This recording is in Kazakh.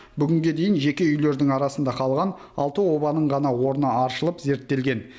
бүгінге дейін жеке үйлердің арасында қалған алты обаның ғана орны аршылып зерттелген